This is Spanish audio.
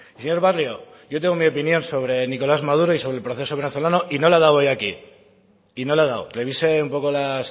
señor barrio yo tengo mi opinión sobre nicolás maduro y sobre el proceso venezolano y no la he dado hoy aquí y no la he dado revise un poco las